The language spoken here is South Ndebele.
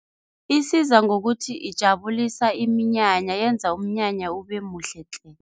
Isiza ngokuthi ijabulisa iminyanya, yenza umnyanya ubemuhle tle.